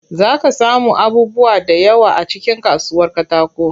Zaa ka samu abubuwa da yawa a cikin kasuwar katakon.